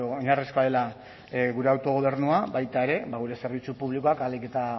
oinarrizkoa dela gure autogobernua baita ere gure zerbitzu publikoak ahalik eta